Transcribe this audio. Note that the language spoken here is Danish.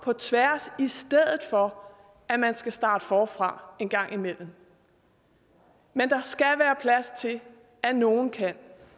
på tværs i stedet for at man skal starte forfra en gang imellem men der skal være plads til at nogle kan